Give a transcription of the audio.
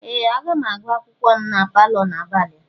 Ee! Aga m agụ akwụkwọ m na palọ n'abalị a.